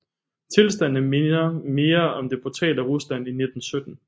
Tilstandene minder mere om det brutale Rusland i 1917